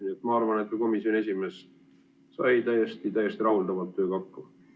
Nii et ma arvan, et ka komisjoni esimees sai täiesti rahuldavalt oma tööga hakkama.